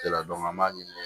an b'a ɲini